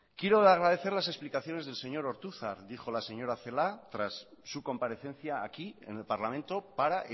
quiero agradecer las explicaciones del señor ortuzar dijo la señora celaa tras su comparecencia aquí en el parlamento para